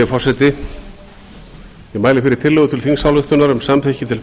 ég mæli fyrir tillögu til þingsályktunar um samþykki til